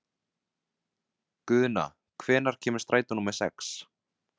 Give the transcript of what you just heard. Guðna, hvenær kemur strætó númer sex?